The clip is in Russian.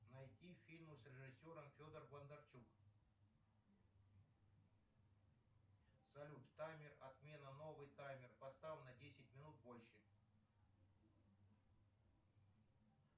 найти фильмы с режиссером федор бондарчук салют таймер отмена новый таймер поставь на десять минут больше